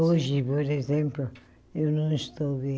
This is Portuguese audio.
Hoje, por exemplo, eu não estou bem.